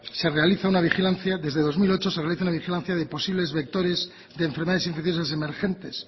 desde dos mil ocho se realiza una vigilancia de posibles vectores de enfermedades infecciosas emergentes